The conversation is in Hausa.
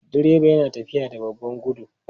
Direba yana tafiya da babban gudu?